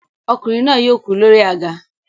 Ọkùnrin náà yóò kú lórí àga.